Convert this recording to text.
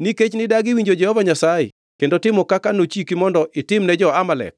Nikech nidagi winjo Jehova Nyasaye kendo timo kaka nochiki mondo itim ne jo-Amalek